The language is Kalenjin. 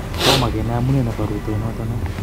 Tomogenai amunee nebo rutoinotonoton.